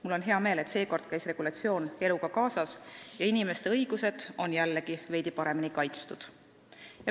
Mul on hea meel, et seekord käis regulatsioon eluga kaasas ja inimeste õigused on jällegi veidi paremini kaitstud.